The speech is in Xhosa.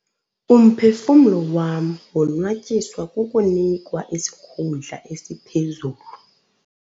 Umphefumlo wam wonwatyiswe kukunikwa isikhundla esiphezulu.